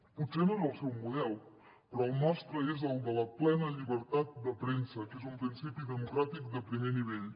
potser no és el seu model però el nostre és el de la plena llibertat de premsa que és un principi democràtic de primer nivell